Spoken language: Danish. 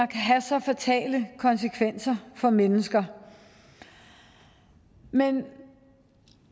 kan have så fatale konsekvenser for mennesker men